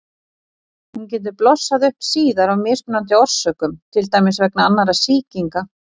Hún getur blossað upp síðar af mismunandi orsökum, til dæmis vegna annarra sýkinga.